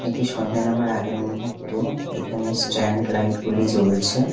এটি সন্ধ্যে নামার আগের মুহূর্ত এখানে স্ট্যান্ড লাইট -গুলি জ্বলছে।